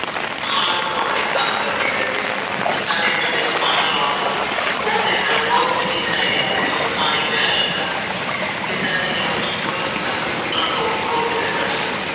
ਖਾਲ ਬਣਾਉਣ ਲਈ ਕੰਮ ਕਰਦੇ ਕਹਿੰਦੇ ਸਨ ਸਾਡੇ ਪਿੰਡ ਚ ਪਾਣੀ ਆਉਣ ਦਾ ਉਹ ਦਿਨ ਮੈਨੂੰ ਚੰਗੀ ਤਰਾਂ ਯਾਦ ਏ ਜਦੋਂ ਪਾਣੀ ਆਉਣ ਲੱਗਾ ਪਿਤਾ ਜੀ ਨੇ ਉਸ ਚ ਫੁਲ ਤੱਕ ਸੁਟਣ ਤੋ ਰੋਕ ਦਿੱਤਾ ਸੀ